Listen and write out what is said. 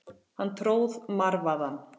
Hann tróð marvaðann.